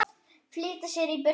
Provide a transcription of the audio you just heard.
Flýta sér í burtu.